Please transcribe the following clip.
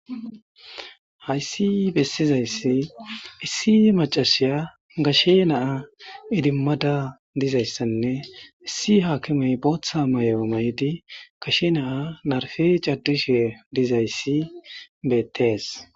hayssi bessizayssi issi macashiya gashe naa idimmada dizayssanne issi haakimey booththa may7eo may7di gashe naa narfe caddishe dizayssi beettees